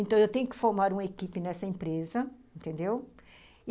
Então, eu tenho que formar uma equipe nessa empresa, entendeu? e...